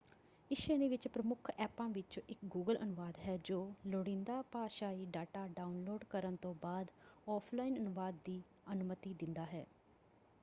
ਇਸ ਸ਼੍ਰੇਣੀ ਵਿੱਚ ਪ੍ਰਮੁੱਖ ਐਪਾਂ ਵਿਚੋਂ ਇਕ ਗੂਗਲ ਅਨੁਵਾਦ ਹੈ ਜੋ ਲੁੜੀਂਦਾ ਭਾਸ਼ਾਈ ਡੇਟਾ ਡਾਉਨਲੋਡ ਕਰਨ ਤੋਂ ਬਾਅਦ ਆਫਲਾਈਨ ਅਨੁਵਾਦ ਦੀ ਅਨੁਮਤੀ ਦਿੰਦਾ ਹੈ।